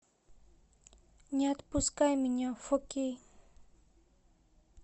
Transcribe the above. не отпускай меня фо кей